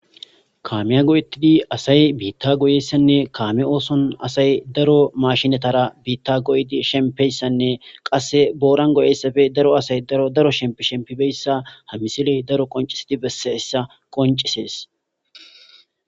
kaameya go7ettidi asay biitta goyessanne kaame ooson asay daro mashinatara biitta goyidi shempeyssanne qasse booran goyeyssafe daro asay daro daro shempi shempibeyssa hamisiley daro qoncisidi besseessa qoncisees